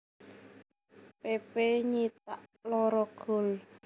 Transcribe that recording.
Pepe nyithak loro gol